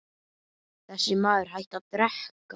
Þessi maður hætti að drekka.